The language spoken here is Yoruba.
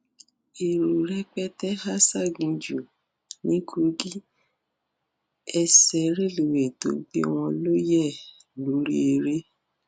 èrò rẹpẹtẹ há ṣáginjù ní kókí ẹsẹ rélùwéè tó gbé wọn ló yẹ lórí ère